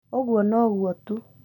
ũguo no guo tũ